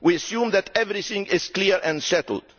We assumed that everything was clear and settled.